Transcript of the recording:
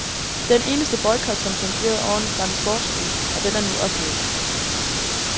Den eneste boycot, som fungerede ordentligt, var den sportslige, og den er nu ophævet.